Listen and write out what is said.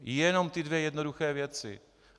Jenom ty dvě jednoduché věci.